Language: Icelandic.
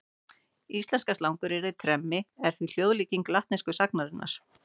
Íslenska slanguryrðið tremmi er því hljóðlíking latnesku sagnarinnar.